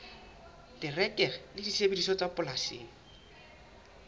terekere le disebediswa tsa polasing